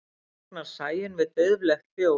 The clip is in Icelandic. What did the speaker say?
vaknar sæunn við dauflegt hljóð